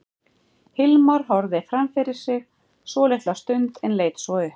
Hilmar horfði fram fyrir sig svolitla stund en leit svo upp.